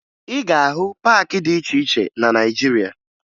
Ị ga-ahụ paakị dị iche iche na Naịjirịa